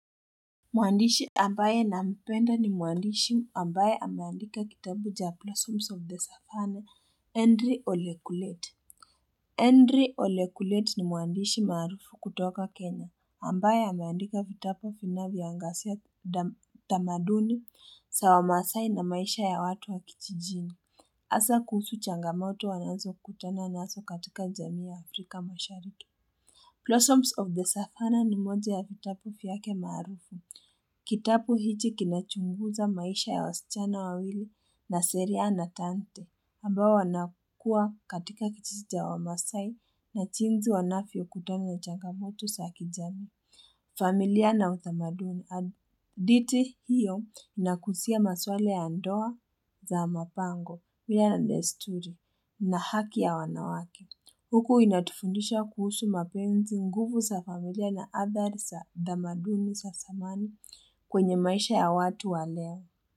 Muandishi ambaye nampenda ni muandishi ambaye ameandika kitabu cha blossoms of the Savanna, Henry Olekulet. Henry Olekulet ni muandishi maarufu kutoka Kenya, ambaye ameandika vitabu vinavyoangazia utamaduni za wamasaai na maisha ya watu wa kijijini. Haswa kuhusu changamoto wanazo kutana nazo katika jamii ya Afrika mashariki. Blossoms of the Savanna ni moja ya vitabu vyake maarufu. Kitabu hiki kinachunguza maisha ya wasichana wawili Naseria na Tante, ambao wana kuwa katika kijiji cha wamaasai na jinsi wanavyokutana na changamoto za kijamii. Familia na utamaduni. Hadithi hiyo inaguzia maswala ya ndoa za mapango mila na desturi na haki ya wanawake Huku inatufundisha kuhusu mapenzi nguvu za familia na hadhari za tamaduni za zamani kwenye maisha ya watu walea.